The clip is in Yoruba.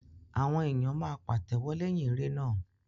Awọn èyán máa pàtéwọ́ leyin eré náà.